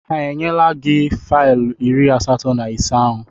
Ha enyela gị faịlụ iri asatọ na ise ahụ?